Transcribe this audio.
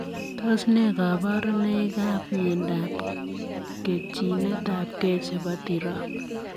Tos nee kabarunoik ap miondoop ketchinetap gei chepo tirop?